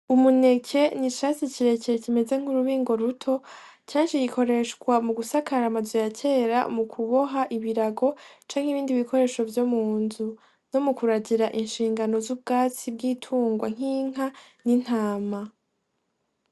Umuneke ni icatsi kirekere kimeze nk'urubingo ruto kenshi gikoreshwa mu gusakara amazu ya kera mu kuboha ibirago canke ibindi bikoresho vyo mu nzu no mu kuragira inshingano z'ubwatsi bw'itungwa nk'inka n'intama.